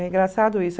É engraçado isso.